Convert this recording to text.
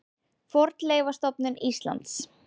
Fornleifastofnun Íslands.